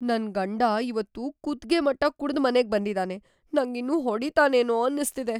ನನ್ ಗಂಡ ಇವತ್ತು ಕುತ್ಗೆ ಮಟ್ಟ ಕುಡ್ದು ಮನೆಗ್‌ ಬಂದಿದಾನೆ. ನಂಗಿನ್ನು ಹೊಡಿತಾನೇನೋ ಅನ್ನಿಸ್ತಿದೆ.